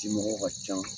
Dimɔgɔw ka ca